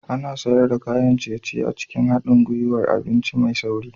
Ana sayar da kayan ciye-ciye a cikin haɗin gwiwar abinci mai sauri